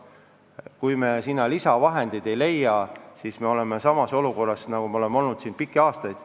Kui me selleks lisavahendeid ei leia, siis me oleme edaspidigi samas olukorras, nagu me oleme olnud pikki aastaid.